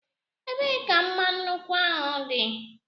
Ebee ka mma nnukwu dị?